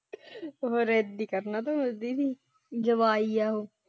ਜਵਾਈ ਹੈ ਉਹ।